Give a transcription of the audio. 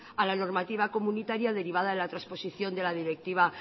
a la normativa comunitaria derivada a la trasposición de la directiva